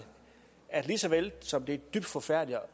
at lige så vel som det er dybt forfærdeligt